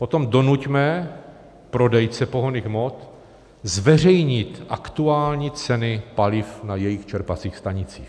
Potom donuťme prodejce pohonných hmot zveřejnit aktuální ceny paliv na jejich čerpacích stanicích.